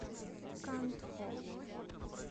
кантхо